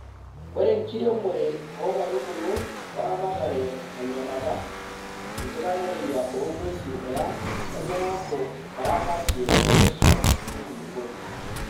Ore enkiremore oo nkaitubulu o ramatare tenyorata, enkitanereyia oo ng`uesi e ang nemeaku oramatie looswam o nkulukuoni.